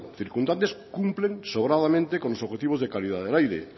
circunstantes cumplen sobradamente con los objetivos de calidad del aire